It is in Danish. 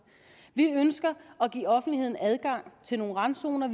vi ønsker at give offentligheden adgang til nogle randzoner